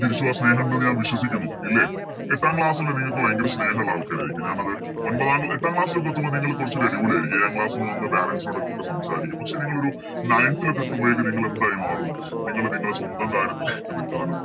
തിരിച്ചും ആ സ്നേഹം ഇണ്ടെന്ന് ഞാൻ വിശ്വസിക്കുന്നു ഇല്ലേ എട്ടാം Class ല് നിങ്ങക്ക് ഭയങ്കര സ്നേഹമുള്ള ആൾക്കാരായിരിക്കും ഞാനത് ഒൻപതാം എട്ടാം Class ലോക്കെ എത്തുമ്പോൾ നിങ്ങള് കൊറച്ചൂടി അടിപൊളി ആരിക്കും ഏഴാം Class ന്ന് വന്ന് Parents നോടൊക്കെ സംസാരിക്കും പക്ഷെ നിങ്ങളൊരു Nineth ല് ഒക്കെ എത്തുമ്പോയേക്കും നിങ്ങളെന്തായി മാറും നിങ്ങള് നിങ്ങളെ സ്വന്തം കാര്യത്തില് നിക്കാനും